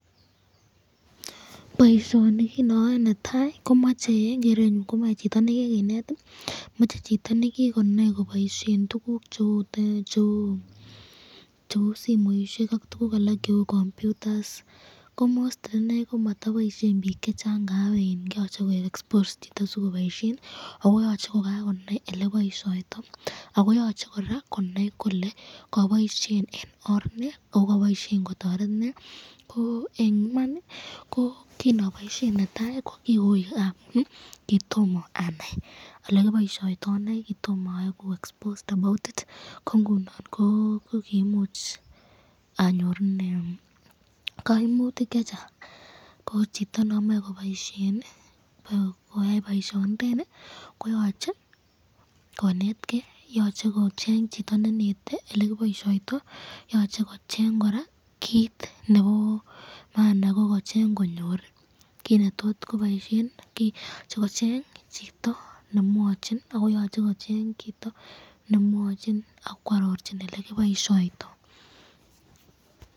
Boishoni kinoyoe netai komoche en kerenyun komoe chito nekikinet, moche chito nekikonai koboishen tukuk cheuu simoishek ak tukuk alak cheuu computers ko most ineii komotoboishen biik chechang ngab iin yoche koik exposed chito sikoboishen ak ko yoche ko kakonai elekiboishoitoi ak ko yoche kora konai kolee koboishen en oor nee ak ko kiboishen kotoret nee, ko en iman ko kinoboishen netai ko kiuu amuun kitomo anaii olekiboishoitoi ak ko nikotomo oiku exposed ko ng'unon ko imuuch anyorunen koimutik chechang, ko chito non moee koboishen ikabakoyai boishonitet nii koyoche kinetkee, yoche kocheng chito nenetee elekiboishoitoi, yoche kocheng kora kiit nebo maana ko kocheng konyor kiit netot koboishen, yoche kocheng chito nemwochin ak kwororchi elekiboishoitoi.